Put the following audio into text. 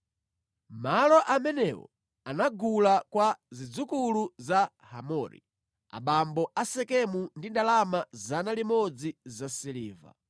Malo amenewo anagula kwa zidzukulu za Hamori, abambo a Sekemu ndi ndalama 100 zasiliva.